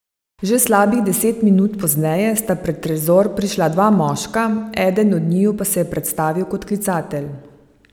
Že slabih deset minut pozneje sta pred trezor prišla dva moška, eden od njiju pa se je predstavil kot klicatelj.